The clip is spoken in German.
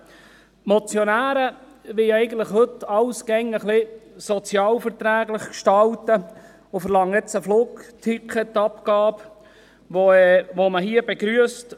Die Motionäre wollen heute eigentlich alles immer ein wenig sozial verträglich gestalten und verlangen nun eine Flugticketabgabe, die man hier begrüsst.